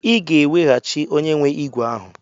Ị ga-eweghachi onye nwe ígwè ahụ!